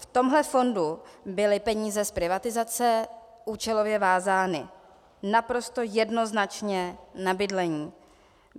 V tomhle fondu byly peníze z privatizace účelově vázány naprosto jednoznačně na bydlení.